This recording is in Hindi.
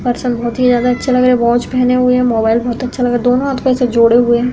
पर्सन बहोत ही ज्यादा अच्छे लग रहे हैं वाच पहने हुए हैं। मोबाइल बहोत अच्छा लग रहा है। दोनों हाथ को ऐसे जोड़े हुए --